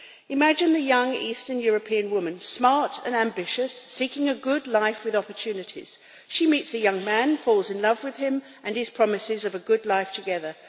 Imagine a young Eastern European woman smart and ambitious, seeking a good life with opportunities, she meets a young man and falls in love with him and his promises of a good life together.